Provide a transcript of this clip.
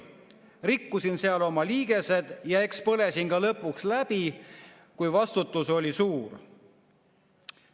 Rikkusin seal oma liigesed ja eks põlesin ka lõpuks läbi, kui vastutus oli suur.